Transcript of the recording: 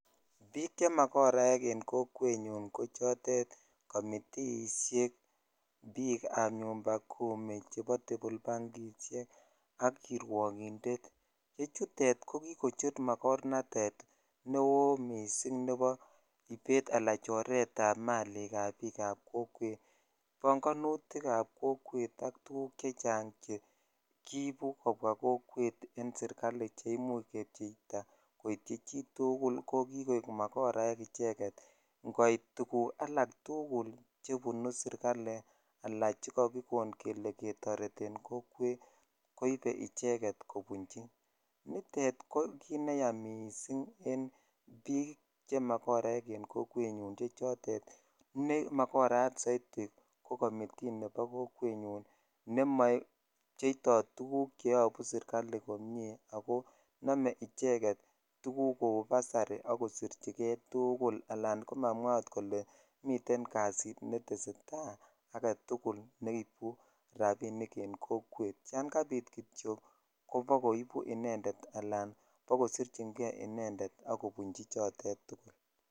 Bik che magoraek en kokwet nyun ko chotrt komitiishek bik ab nyumbakimi chebo tebolbang ak kiwokindet ne chutet ko kikochtun magornatet neo missing nebo ibet ala choret ab malik ab bik ab kokwet bongonuyik ab kokwet ak tuguk chechang chekibu kobwa kokwet chebunu serikali che imuch kebcheitaa koityi chitugukul ko kikoik magoraek icheget ingoit tugul alak tuguk che unu setikali ala chekakikon kele ketoreten kokwet koibe icheget kobinchi nitet ko kit neyas missing en bik che yaach en kokwet ne chotet ne magorayat soiti ko komitiine mobyeito tuguk che obu serkali ako nome icheget ko busari ak kosirichikei tugul kobunji al ot komamwaa kole miten kasit netesetai neibu rabinik en kokwet yan kabit kityok ko bakoibu Inended al kobakosrichjei Inended ak kobuch chotet tugul